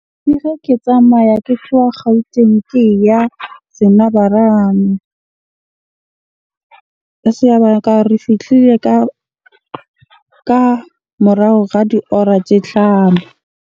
Ke tsamaya ke theoha Gauteng, ke ya re fihlile ka morao ga diora tse hlano.